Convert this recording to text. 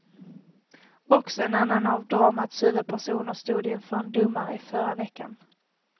Också en annan av dramats huvudpersoner stod inför en domare i förra veckan.